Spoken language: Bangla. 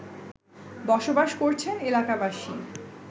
বসবাস করছেন এলাকাবাসী